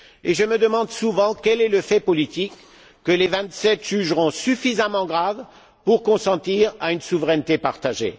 Je me demande souvent quel est le fait politique que les Vingt sept jugeront suffisamment grave pour consentir à une souveraineté partagée.